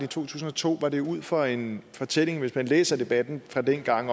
tusind og to var det ud fra en fortælling om hvis man læser debatten fra dengang